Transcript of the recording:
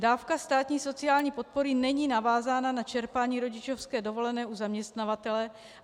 Dávka státní sociální podpory není navázána na čerpání rodičovské dovolené u zaměstnavatele.